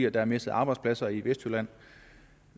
at der er mistet arbejdspladser i vestjylland